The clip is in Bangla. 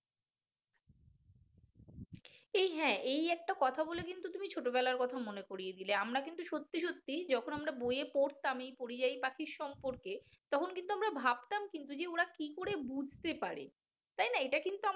এই হ্যাঁ এই একটা কথা বলে কিন্তু তুমি ছোটবেলার কথা মনে করিয়ে দিলে আমরা কিন্তু সত্যি সত্যি যখন আমরা বয়ে পড়তাম এই পরিযায়ী পাখির সম্পর্কে তখন কিন্তু আমরা ভাবতাম কিন্তু যে ওরা কি করে বুঝতে পারে তাই না? এটা কিন্তু আমাদের